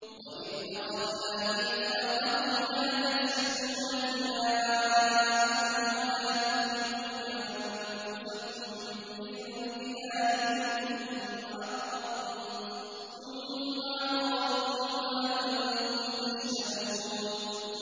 وَإِذْ أَخَذْنَا مِيثَاقَكُمْ لَا تَسْفِكُونَ دِمَاءَكُمْ وَلَا تُخْرِجُونَ أَنفُسَكُم مِّن دِيَارِكُمْ ثُمَّ أَقْرَرْتُمْ وَأَنتُمْ تَشْهَدُونَ